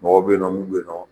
Mɔgɔw bɛyiɔ mun bɛyinɔ.